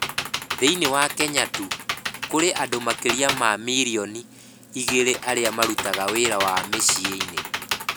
Thĩinĩ wa Kenya tu, kũrĩ andũ makĩria ma milioni igĩrĩ arĩa marutaga wĩra mĩciĩ-inĩ.